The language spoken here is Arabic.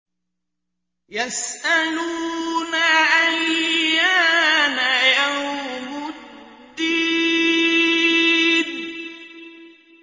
يَسْأَلُونَ أَيَّانَ يَوْمُ الدِّينِ